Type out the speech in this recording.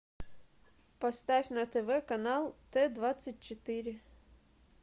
поставь на тв канал т двадцать четыре